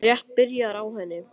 Ég var rétt byrjaður á henni.